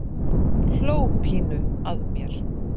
Hló pínu að mér.